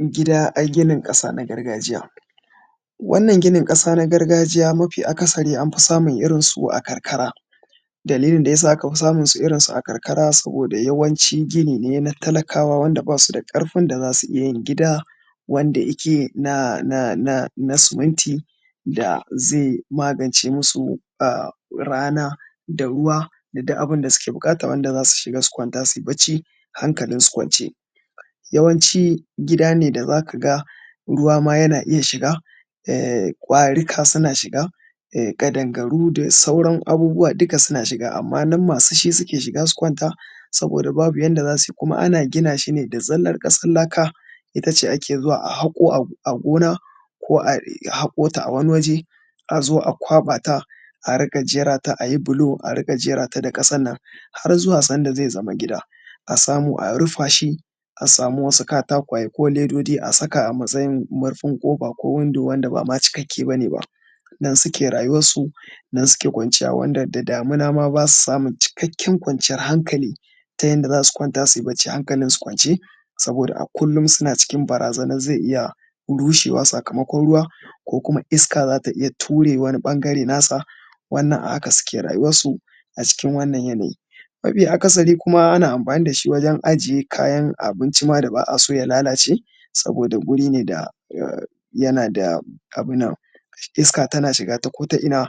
Gida a ginin ƙasa na gargajiya. Wannan ginin ƙasa na gargajiya mafi akasari anfi samunsu a karkara, dalilin da yasa aka fi samun irinsu a karkara, saboda yawanci gini ne na talakawa wanda ba su da ƙarfin da za su iya yin gida wanda ike nan a nan suminti da zai magance masu rana da ruwa da dai duk abin da suke buƙata wanda za su kwanta su yi bacci hankalinsu kwance. Yawanci gida ne da za ka ga ruwa ma yana iya shiga, ƙwarika suna iya shiga, ƙadangaru da sauran abubuwa duka suna shiga, amma nan masu shi suke shiga su kwanta saboda babu yanda za su yi. Kuma ana gina shi ne da zallar ƙasar laka, ita ce ake zuwa a haƙo a gona, ko a haƙo ta a wani waje, a zo a kwaɓa ta a riƙa jera ta, a yi bulo a riƙa jera ta da ƙasan nan, har zuwa sanda zai zama gida, a samu a rufa shi a samu wasu katakwaye ko ledodi a saka a matsayin murfin ƙofa ko window wanda ba ma cikakke bane ba. Nan suke rayuwarsu, nan suke kwanciya, wanda da damuna ma ba su samu cikkaken kwanciyar hankali ta yanda za su kwanta su yi bacci hankalin su kwance, saboda a kullum suna cikin barazanar zai iya rushewa sakamakon ruwa ko kuma iska za ta iya ture wani ɓangare na sa, wannan a haka suke rayuwarsu acikin wannan yanayi. Mafi akasari kuma ana amfani da shi wajen ajiye kayan abinci ma da ba a so ya lalace, saboda wuri ne da, yana da abin nan, iska tana shiga ta ko ta ina,